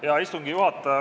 Hea istungi juhataja!